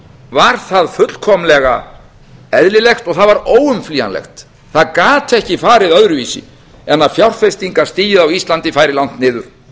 var það fullkomlega eðlilegt og það var óumflýjanlegt það gat ekki farið öðruvísi en að fjárfestingastigið á íslandi færi langt niður